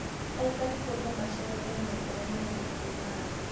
Aikari kũũrio maceere nyanjara -inĩ ya Maasai Mara